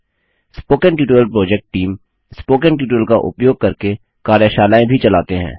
spoken tutorial project team spoken tutorial का उपयोग करके कार्यशालाएँ भी चलाते हैं